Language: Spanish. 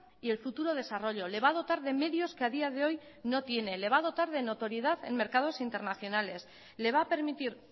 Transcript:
y el futuro desarrollo le va a dotar de medios que a día de hoy no tiene le va a dotar de notoriedad en mercados internacionales le va a permitir